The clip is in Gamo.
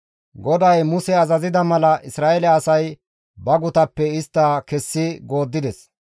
GODAY Muse azazida mala Isra7eele asay ba gutappe istta kessi gooddides.